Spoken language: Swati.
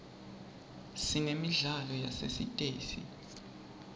sinemidlalo yasesitesi